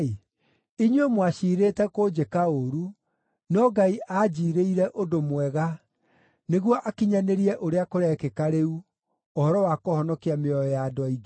Inyuĩ mwaciirĩte kũnjĩka ũũru, no Ngai aanjiirĩire ũndũ mwega nĩguo akinyanĩrie ũrĩa kũrekĩka rĩu, ũhoro wa kũhonokia mĩoyo ya andũ aingĩ.